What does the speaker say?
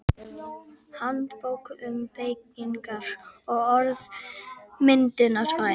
Handbók um beygingar- og orðmyndunarfræði.